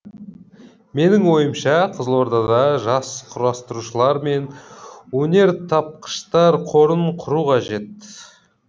менің ойымша қызылордада жас құрастырушылар мен өнертапқыштар қорын құру қажет